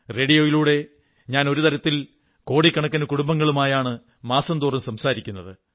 റേഡിയോയിലൂടെ ഞാൻ ഒരു തരത്തിൽ കോടിക്കണക്കിനു കുടുംബങ്ങളുമായാണ് മാസം തോറും സംസാരിക്കുന്നത്